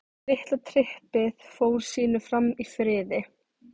Litla trippið fór sínu fram í friði.